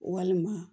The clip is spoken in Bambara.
Walima